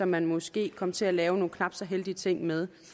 man måske kom til at lave nogle knap så heldige ting med